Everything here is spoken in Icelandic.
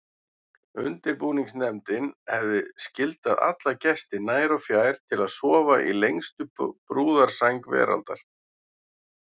Undirbúningsnefndin hefði skyldað alla gesti nær og fjær til að sofa í lengstu brúðarsæng veraldar.